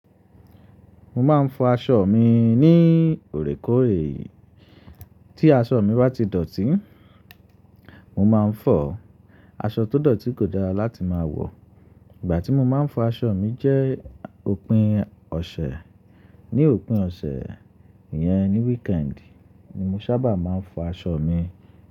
Mo máa ń fọ aṣọ mi ní òorékòóre. Tí aṣọ mi bá ti dọ̀tí, mo máa ń fọ̀. Aṣọ tó dọ̀tí kò dára láti máa wọ̀. Ìgbà tí mo máa ń fọ aṣọ mi jẹ́ òpin ọ̀sẹ̀. Ni òpin ọ̀sẹ̀, iyẹn ni weekend ni mo sábà máa ń fọ aṣọ mi.